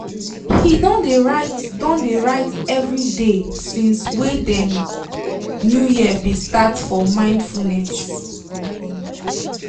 he don de write don de write every de since wey de new year be start for mindfulness.